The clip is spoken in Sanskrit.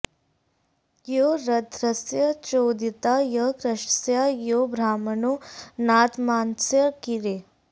यो रध्रस्य चोदिता यः कृशस्य यो ब्रह्मणो नाधमानस्य कीरेः